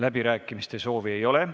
Läbirääkimiste soovi ei ole.